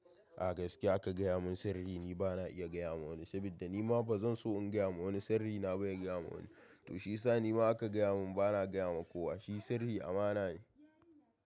A gaskiya aka gaya mun sirri ni bana iya gaya wa wani, saboda nima bazan so in gaya wa wani sirrina ba ya gaya wa wani. To shiyasa nima aka gaya mun bana gaya wa kowa, shi sirri amana ne.